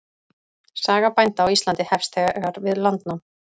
Saga bænda á Íslandi hefst þegar við landnám.